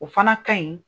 O fana ka ɲi